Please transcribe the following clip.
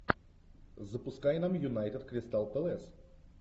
запускай нам юнайтед кристал пэлас